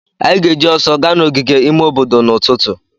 Anyị ga-eji ọsọ ga n'ogige ime obodo n'ụtụtụ.